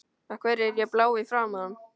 Af hverju er ég blá í framan?